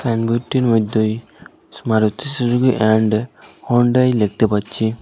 মধ্যে Maruti Suzuki and Hyundai দেখতে পারছি।